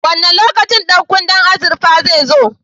Wane lokaci ɗan kunnen azurfar zai zo?